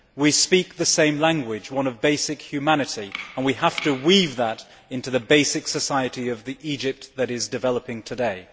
We speak the same language one of basic humanity, and we have to weave that into the basic society of the Egypt that is developing today.